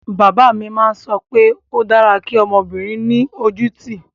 Bàbá mi má ń sọ pé ó dára kí ọmọbìnrin ní ojú ú tì